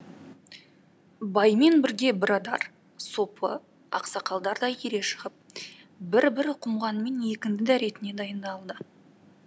баймен бірге бірадар сопы ақсақалдар да ере шығып бір бір құмғанмен екінді дәретіне дайындалды